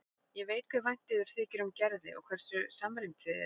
Ég veit hve vænt yður þykir um Gerði og hversu samrýmd þið eruð.